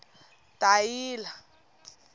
dayila